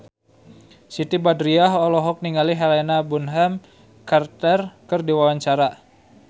Siti Badriah olohok ningali Helena Bonham Carter keur diwawancara